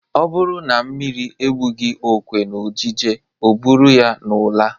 Ọ bụrụ na mmiri ebughị okwe n'ojije o buru ya n'ụla.